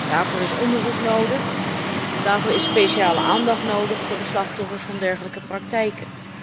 Daarvoor is onderzoek nodig, daarvoor is speciale aandacht nodig voor de slachtoffers van dergelijke praktijken.